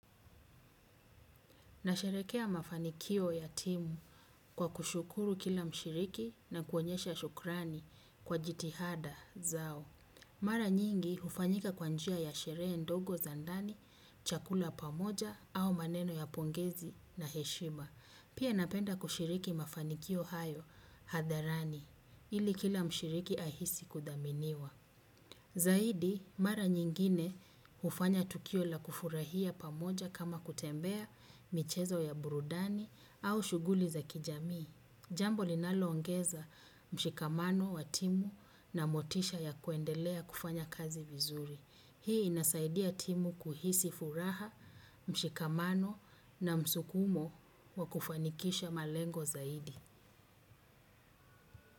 Nasherehekea mafanikio ya timu kwa kushukuru kila mshiriki na kuonyesha shukrani kwa jitihada zao. Mara nyingi hufanyika kwa njia ya sherehe ndogo za ndani chakula pamoja au maneno ya pongezi na heshima. Pia napenda kushiriki mafanikio hayo hadharani ili kila mshiriki ahisi kudhaminiwa. Zaidi, mara nyingine hufanya tukio la kufurahia pamoja kama kutembea michezo ya burudani au shughuli za kijamii. Jambo linaloongeza mshikamano wa timu na motisha ya kuendelea kufanya kazi vizuri. Hii inasaidia timu kuhisi furaha, mshikamano na msukumo wa kufanikisha malengo zaidi.